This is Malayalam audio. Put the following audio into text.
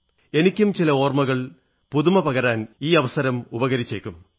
എനിക്കും ചില ഓർമ്മകൾക്ക് പുതുമ പകരാൻ ഈ അവസരം ഉപകരിച്ചേക്കും